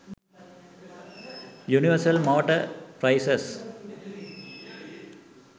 universal motor prices